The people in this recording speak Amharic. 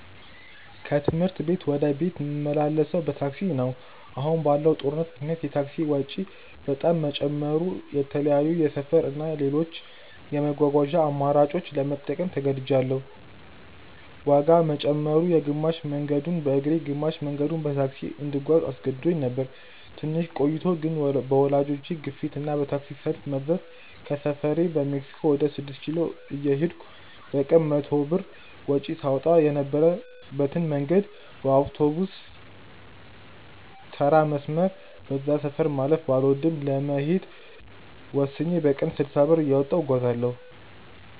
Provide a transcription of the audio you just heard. ከትምህርት ቤት ወደ ቤት ምመላለሰው በታክሲ ነው። አሁን ባለው ጦርነት ምክንያት የታክሲ ወጪ በጣም መጨመሩ የተለያዩ የሰፈር እና ሌሎች የመጓጓዣ አማራጮችን ለመጠቀም ተገድጅያለው። ዋጋ መጨመሩ፣ ግማሽ መንገዱን በእግሬ ግማሽ መንገዱን በታክሲ እንድጓዝ አስገድዶኝ ነበር። ትንሽ ቆይቶ ግን በወላጆቼ ግፊት እና በታክሲ ሰልፍ መብዛት ከሰፈሬ በሜክሲኮ ወደ ስድስት ኪሎ እየሄድኩ በቀን 100 ብር ወጪ ሳወጣ የነበረበትን መንገድ በአውቶቢስተራ መስመር (በዛ ሰፈር ማለፍ ባልወድም) ለመሄድ ወስኜ በቀን 60 ብር እያወጣሁ እጓጓዛለው።